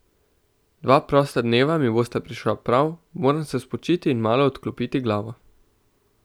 Dva prosta dneva mi bosta prišla prav, moram se spočiti in malo odklopiti glavo.